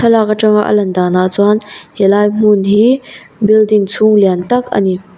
thlalak atanga a lan danah chuan helai hmun hi building chhung lian tak a ni.